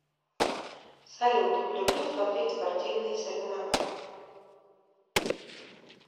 салют люблю смотреть спортивные соревнования